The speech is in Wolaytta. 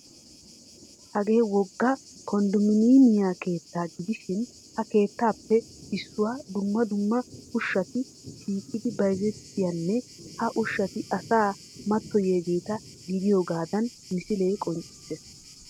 Hagee wogga konddomiinemiya keettaa gidishin ha keettaappe issuwan dumma dumma ushshati shiiqidi bayzettiyanne ha ushshati asaa mattoyiyageeta gidiyogaadan misilee qonccissees.